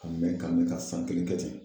Ka mɛn ka mɛn ka san kelen kɛ ten.